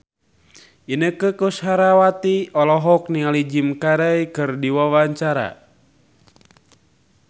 Inneke Koesherawati olohok ningali Jim Carey keur diwawancara